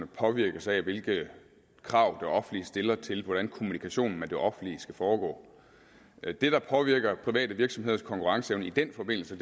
påvirkes af hvilke krav det offentlige stiller til hvordan kommunikationen med det offentlige skal foregå det der påvirker private virksomheders konkurrenceevne i den forbindelse